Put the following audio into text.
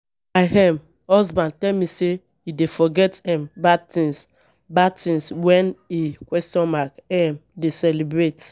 My um husband tell me say he dey forget um bad things, bad things wen he? um dey celebrate.